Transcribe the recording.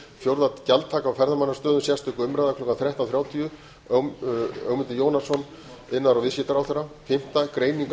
fjórða gjaldtaka á ferðamannastöðum sérstök umræða klukkan þrettán þrjátíu málshefjandi ögmundur jónasson til svara iðnaðar og viðskiptaráðherra fimmta greining á